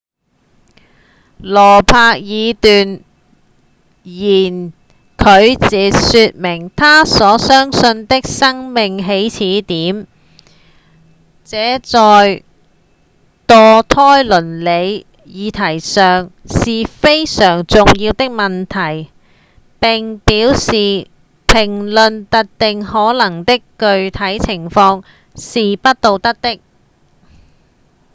羅伯茲斷然拒絕說明他所相信的生命起始點這在墮胎倫理議題上是非常重要的問題並表示評論特定可能的具體情況是不道德的